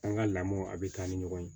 An ka lamɔw a bɛ taa ni ɲɔgɔn ye